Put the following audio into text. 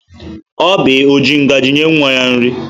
Oby ọ ji ngaji nye nwa nri?